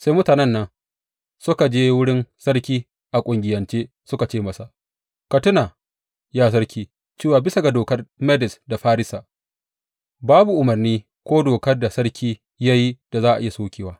Sai mutanen nan suka je wurin sarki a ƙungiyance suka ce masa, Ka tuna, ya sarki; cewa bisa ga dokar Medes da Farisa, babu umarni ko dokar da sarki ya yi da za a iya sokewa.